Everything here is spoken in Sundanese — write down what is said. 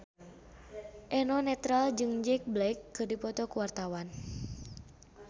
Eno Netral jeung Jack Black keur dipoto ku wartawan